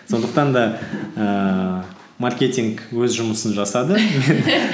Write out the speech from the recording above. сондықтан да ііі маркетинг өз жұмысын жасады